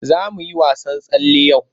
Za mu yi wasan tsalle yau.